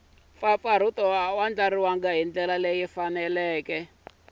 mpfapfarhuto a swi andlariwangi hi